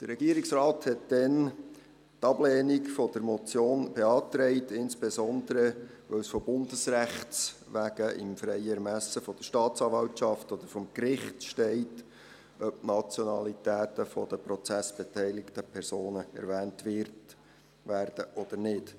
Der Regierungsrat beantragte damals die Ablehnung der Motion, insbesondere, weil es aus bundesrechtlichen Gründen im freien Ermessen der Staatsanwaltschaft oder des Gerichts steht, ob die Nationalitäten der Prozessbeteiligten erwähnt werden oder nicht.